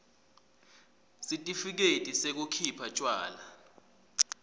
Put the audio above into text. sitifiketi sekukhipha tjwala